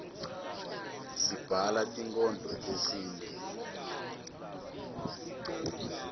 sibhala tinkhondlo tesintfu